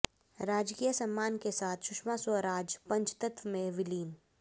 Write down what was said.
राजकीय सम्मान के साथ सुषमा स्वराज पंचतत्व में विलीन